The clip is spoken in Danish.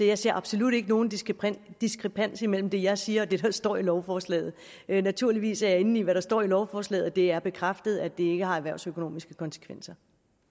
jeg ser absolut ikke nogen diskrepans diskrepans mellem det jeg siger og det der står i lovforslaget naturligvis er jeg inde i hvad der står i lovforslaget og det er bekræftet at det ikke har erhvervsøkonomiske konsekvenser